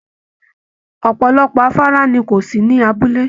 Ọpọlọpọ afárá ni kò sí ní abúlé.